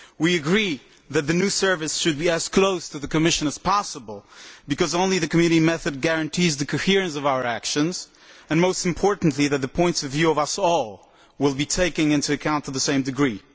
We agree that the new Service should be as close to the Commission as possible, because only the Community method guarantees the coherence of our actions and, most importantly, the points of view of us all will be taken into account to the same degree.